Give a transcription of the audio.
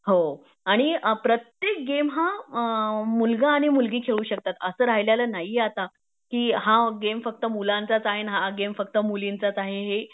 हो आणि प्रत्येक गेम हा मुलगा आणि मुलगी खेळू शकतात असं राहिलेले नाहीए आता कि हा गेम फक्त मुलांचाच आहे आण हा गेम फक्त मुलीचाच आहे